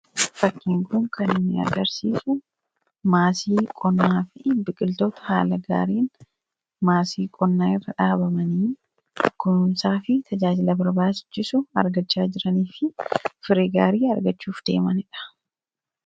fakkiin kun kan inni agarsiisu maasii qonnaa fi biqiltoota haala gaariin maasii qonnaa irra dhaabamanii kununsaa fi tajaajila barbaasichisu argachaa jiranii fi firii gaarii argachuuf deemaniidha.